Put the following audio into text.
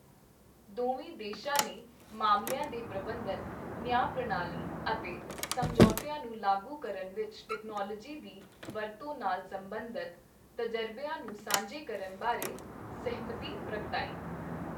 ਦੋਵੇਂ ਦੇਸ਼ਾਂ ਨੇ ਮਾਮਲਿਆਂ ਦੇ ਪ੍ਰਬੰਧਨ, ਨਿਆਂ ਪ੍ਰਣਾਲੀ ਅਤੇ ਸਮਝੌਤਿਆਂ ਨੂੰ ਲਾਗੂ ਕਰਨ ਵਿੱਚ ਤਕਨਾਲੋਜੀ ਦੀ ਵਰਤੋਂ ਨਾਲ ਸਬੰਧਤ ਤਜ਼ਰਬਿਆਂ ਨੂੰ ਸਾਂਝੇ ਕਰਨ ਬਾਰੇ ਸਹਿਮਤੀ ਪ੍ਰਗਟਾਈ।